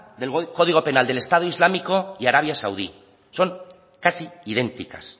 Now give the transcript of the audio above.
del código penal del estado islámico y arabia saudí son casi idénticas